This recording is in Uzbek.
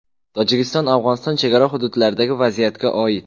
Tojikiston–Afg‘oniston chegara hududlaridagi vaziyatga oid.